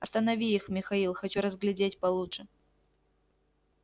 останови их михаил хочу разглядеть получше